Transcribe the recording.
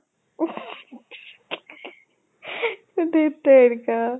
ধেত তেৰি কা।